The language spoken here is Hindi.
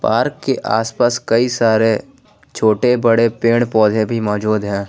पार्क के आसपास कई सारे छोटे बड़े पेड़ पौधे भी मौजूद है।